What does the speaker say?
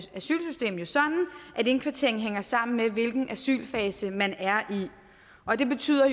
indkvarteringen hænger sammen med hvilken asylfase man er i og det betyder